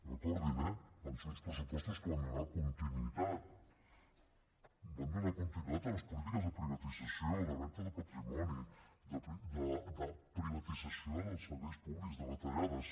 recordin eh van ser uns pressupostos que van donar continuïtat van donar continuïtat a les polítiques de privatització de venda de patrimoni de privatització dels serveis públics de retallades